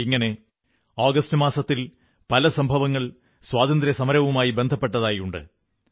ഇങ്ങനെ ആഗസ്റ്റ് മാസത്തിൽ പല സംഭവങ്ങൾ സ്വാതന്ത്ര്യസമരവുമായി ബന്ധപ്പെട്ടതായി ഉണ്ട്